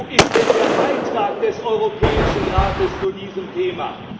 Wo ist denn der Beitrag des Europäischen Rates zu diesem Thema?